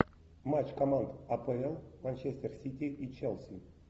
матч команд апл манчестер сити и челси